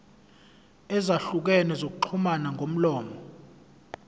ezahlukene zokuxhumana ngomlomo